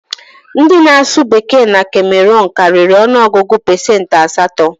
Ndị na-asụ Bekee na Kemeruun karịrị ọnụ ọgụ pesentị asatọ